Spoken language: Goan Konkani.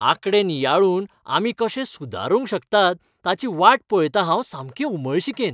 आंकडे नियाळून आमी कशे सुदारूंक शकतात ताची वाट पळयतां हांव सामकें उमळशिकेन.